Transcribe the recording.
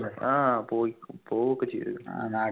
ആഹ് പോയി പോവ്ഒക്കെ ചെയ്തിനു